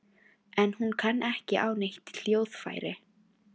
En hún kann ekki á neitt hljóðfæri